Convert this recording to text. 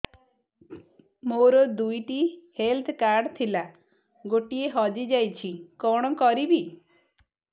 ମୋର ଦୁଇଟି health card ଥିଲା ଗୋଟିଏ ହଜି ଯାଇଛି କଣ କରିବି